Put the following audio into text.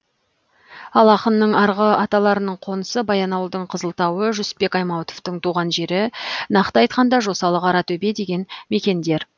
ал ақынның арғы аталарының қонысы баянауылдың қызылтауы жүсіпбек аймауытовтың туған жері нақты айтқанда жосалы қаратөбе деген мекендер